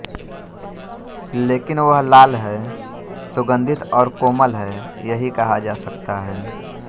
लेकिन वह लाल है सुगंधित और कोमल है यही कहा जा सकता है